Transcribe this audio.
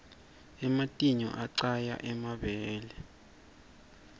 ematinyou aqaya emabele